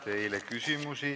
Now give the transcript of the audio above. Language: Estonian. Teile on üks küsimus.